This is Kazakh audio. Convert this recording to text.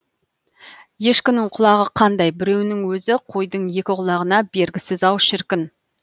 ешкінің құлағы қандай біреуінің өзі қойдың екі құлағына бергісіз ау шіркін